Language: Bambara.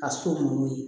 Ka so nunnu ye